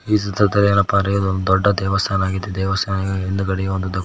ಈ ಚಿತ್ರದಲ್ಲಿ ಏನಪ್ಪಾ ಅಂದ್ರೆ ಇದೊಂದು ದೊಡ್ಡ ದೇವಸ್ಥಾನ ಆಗಿದೆ ದೇವಸ್ಥಾನದ ಹಿಂದ್ಗಡೆಯೂ ಒಂದು--